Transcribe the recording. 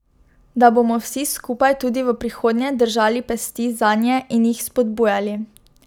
Da bomo vsi skupaj tudi v prihodnje držali pesti zanje in jih spodbujali.